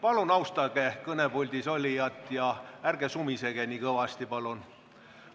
Palun austage kõnepuldis olijat ja ärge sumisege nii kõvasti!